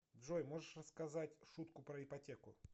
джой можешь рассказать шутку про ипотеку